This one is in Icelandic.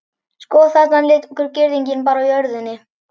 Sko, þarna liggur girðingin bara á jörðinni.